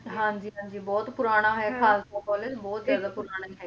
ਹਾਂਜੀ ਹਾਂਜੀ ਬਹੁਤ ਪੁਰਾਣਾ ਹੈ ਖਾਲਸਾ college ਬਹੁਤ ਜ਼ਿਆਦਾ ਪੁਰਾਣੀ ਹੈਗੀ